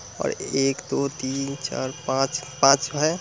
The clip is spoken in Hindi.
और एक दो तीन चार पांच-पांच है।